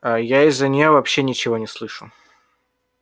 а я из-за неё вообще ничего не слышу